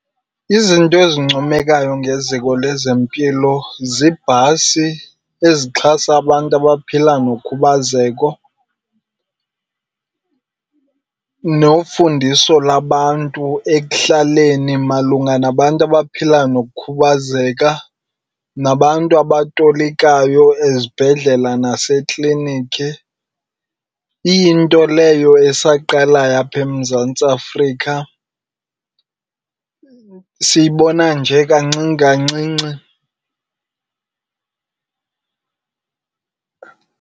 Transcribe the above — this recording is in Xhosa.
Izinto ezincomekayo ngeziko lezempilo ziibhasi ezixhasa abantu abaphila nokhubazeko nofundiso labantu ekuhlaleni malunga nabantu nabaphila nokukhubazeka, nabantu abatolikayo ezibhedlela nasekliniki. Iyinto leyo esaqalayo apha eMzantsi Afrika siyibona nje kancinci kancinci.